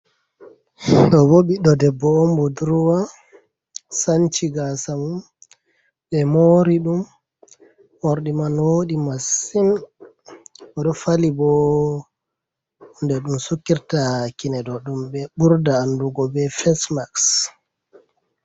Ɗobo ɓiɗdo debbo on budurwau sanchi gasa mum ɓe mori ɗum morɗi man woɗi massin oɗo fali bo hunde ɗum ɓe sukirta kine ɗo ɗum be ɓurda andugo be fasemaks.